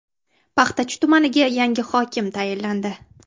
Paxtachi tumaniga yangi hokim tayinlandi.